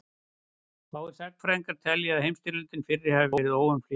fáir sagnfræðingar telja að heimsstyrjöldin fyrri hafi verið óumflýjanleg